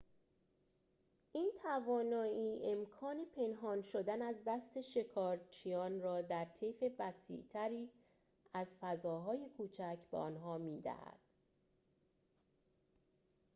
این توانایی امکان پنهان شدن از دست شکارچیان را در طیف وسیع‌تری از فضاهای کوچک به آنها می‌دهد